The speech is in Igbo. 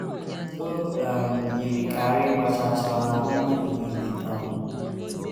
O um yiri ka ara ịgba chaa chaa ọ̀ na - agba ọha mmadụ nile um.